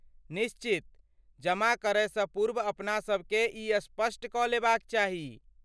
निश्चित, जमा करयसँ पूर्व अपनासभकेँ ई स्पष्ट कऽ लेबाक चाही।